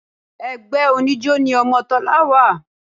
Ẹgbẹ́ oníjó ni ọmọ Tọ́lá wà